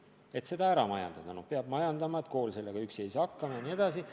Põhjuseks toodi, et hoone peab end ära majandama ja kool üksi ei saa sellega hakkama.